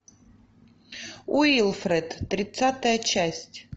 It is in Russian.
уилфред тридцатая часть